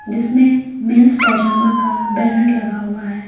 जिसमें men's pyjama का banner लगा हुआ है।